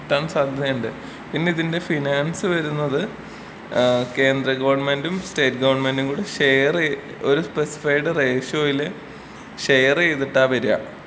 കിട്ടാൻ സാധ്യതയുണ്ട്. പിന്നെ ഇതിന്റെ ഫിനാൻസ് വരുന്നത് ഏഹ് കേന്ദ്ര ഗവണ്മെന്റും സ്റ്റേറ്റ് ഗവണ്മെന്റും കൂടെ ഷെയർ ഒര് സ്പെസിഫൈട് റേഷ്യോയില് ഷെയർ ചെയ്തിട്ടാ വരാ.